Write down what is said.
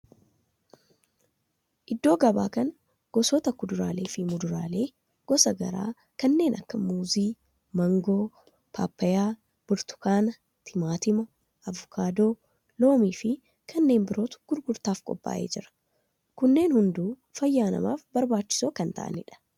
Iddoo gabaa kan gosoota kuduraalee fi muduraalee gosa garaa kanneen akka muuzii, maangoo, paappayyaa, burtukaana, timaatima, avokaadoo, loomii fi kanneen birootu gurgurtaaf qophaa'ee jira. Kunneen hunduu fayyaa namaaf barbaachisoo kan ta'aanidha.